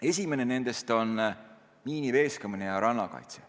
Esimene nendest on miiniveeskamine ja rannakaitse.